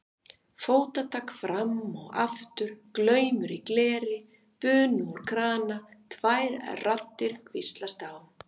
fótatak fram og aftur, glamur í gleri, bunu úr krana, tvær raddir hvíslast á.